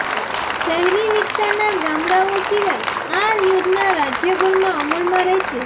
શહેરી વિસ્તારના ગામડાઓ સિવાય આ યોજના રાજ્યભરમાં અમલમાં રહેશે